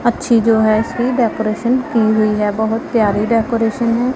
अच्छी जो है सी डेकोरेशन की हुई है बहोत प्यारी डेकोरेशन है।